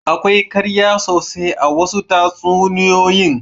Akwai ƙarya sosai a wasu tatsuniyoyin.